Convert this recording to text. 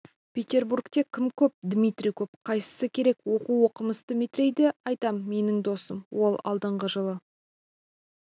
петербургте кім көп дмитрий көп қайсысы керек оу оқымысты метрейді айтам менің досым ол алдынғы жылы